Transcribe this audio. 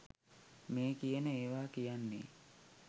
මේ කියන ඒවා කියන්නේ.